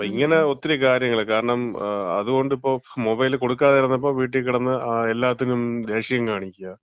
അപ്പം ഇങ്ങനെ ഒത്തിരി കാര്യങ്ങൾ. അതുകൊണ്ട് ഇപ്പം മൊബൈൽ കൊടുക്കാതിരുന്നപ്പോ വീട്ടി കെടന്ന് ഇപ്പം എല്ലാത്തിനും ദേഷ്യം കാണിക്കാ.